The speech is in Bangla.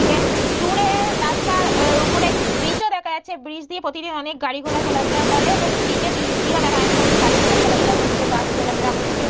দূরে রাস্তার ওপরে একটি ব্রিজও দেখা যাচ্ছে ব্রিজ দিয়ে প্রতিদিন অনেক গাড়ি ঘোড়া চলাফেরা করে এবং ব্রিজ এর নিচ দিয়েও দেখা যাচ্ছে অনেক গাড়ি ঘোড়া চলাফেরা করছে বাস চলাফেরা করছে।